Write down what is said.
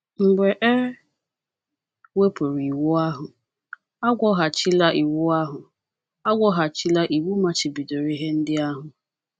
Mgbe e wepụrụ Iwu ahụ, agwọghachila iwu ahụ, agwọghachila iwu machibidoro ihe ndị ahụ.